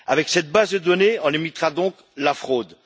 Cette base de données limitera donc la fraude.